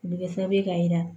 O bɛ kɛ sababu ye k'a jira